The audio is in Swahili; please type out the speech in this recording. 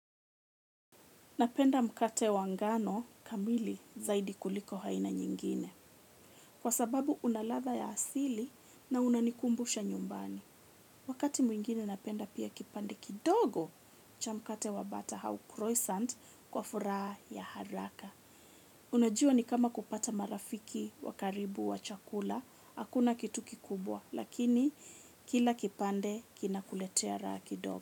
Napenda mkate wangano kamili zaidi kuliko aina nyingine kwa sababu unaladha ya asili na unanikumbusha nyumbani. Wakati mwingine napenda pia kipande kidogo cha mkate wabata au kroisant kwa furaha ya haraka. Unajua ni kama kupata marafiki wakaribu wa chakula, hakuna kitu kikubwa lakini kila kipande kinakuletea raha kidogo.